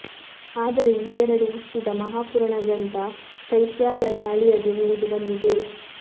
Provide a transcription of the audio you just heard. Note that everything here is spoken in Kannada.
ಆದರೆ ಈ ಎರಡೂ ಹುಟ್ಟಿದ ಮಹಾಪುರಾಣ ಗ್ರಂಥ ಚೈತ್ಯಾಲಯ ಅಳಿಯದೆ ಉಳಿದು ಬಂದಿದೆ